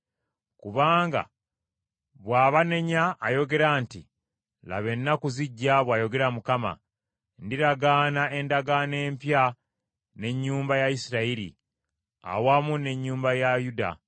Kubanga bw’abanenya ayogera nti, “Laba ennaku zijja,” bw’ayogera Mukama, “ndiragaana endagaano empya n’ennyumba ya Isirayiri, awamu n’ennyumba ya Yuda.